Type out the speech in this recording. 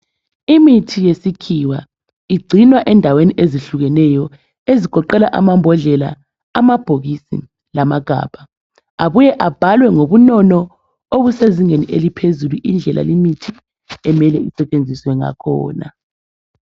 Imithi yesikhiwa igcinwa endaweni ezihlukeneyo ezigoqela amambodlela, amabhokisi lamagabha. Abuye abhalwe ngobunono obusezingeni eliphezulu indlela limithi emele isetshenziswe ngakhona.